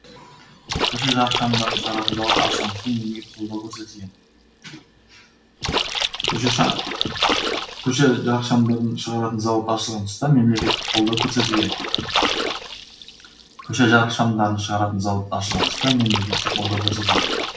көше жарықшамдарын шығаратын зауыт ашылған тұста мемлекеттік қолдау көрсетілген